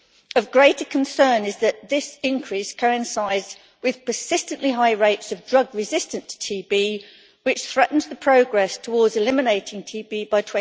Of greater concern is that this increase coincides with persistently high rates of drug resistant TB, which threatens progress towards eliminating TB by